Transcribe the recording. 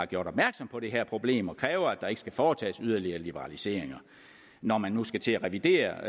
gjorde opmærksom på det her problem og krævede at der ikke skulle foretages nye liberaliseringer når man nu skal til at revidere